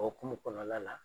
Okumu kɔnɔla la